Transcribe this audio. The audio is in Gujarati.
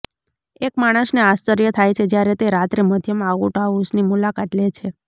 એક માણસને આશ્ચર્ય થાય છે જ્યારે તે રાત્રે મધ્યમાં આઉટહાઉસની મુલાકાત લે છે